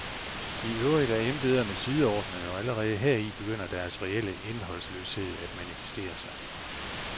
I øvrigt er embederne sideordnede, og allerede heri begynder deres reelle indholdsløshed at manifestere sig.